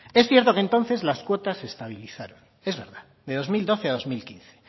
es cierto que entonces las cuotas se estabilizaron es verdad de dos mil doce a dos mil quince